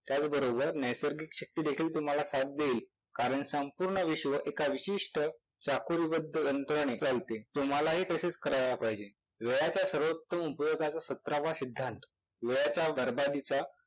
त्याचबरोबर नैसर्गिक शक्तीदेखील तुम्हाला साथ देईल कारण संपूर्ण विश्व एका विशिष्ट चाकोरीबद्ध यंत्रणेत लावते. तुम्हालाही तसेच करायला पाहिजे. वेळाचा सर्वोत्तम उपयोगाचा सतरावा सिद्धांत वेळेचा, बरबादीचा